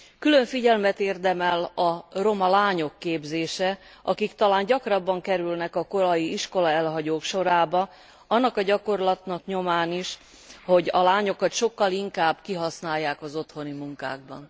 Külön figyelmet érdemel a roma lányok képzése, akik talán gyakrabban kerülnek korai iskolaelhagyók sorába, annak a gyakorlatnak a nyomán is, hogy a lányokat sokkal inkább kihasználják az otthoni munkákban.